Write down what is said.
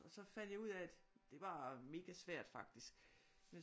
Og så fandt jeg ud af at det var megasvært faktisk